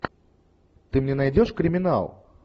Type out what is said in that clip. ты мне найдешь криминал